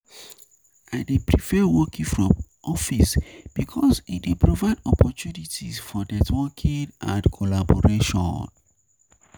I dey prefer working from office because e dey provide opportunities for networking and collaboration.